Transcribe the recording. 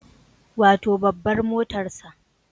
Wato babbar motarsa